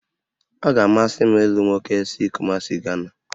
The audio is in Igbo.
Ọ ga-amasị m ịlụ nwoke si Kumasị, Gana